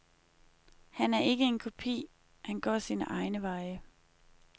Han er ikke en kopi, han går sine egne veje.